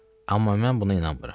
Amma mən buna inanmıram.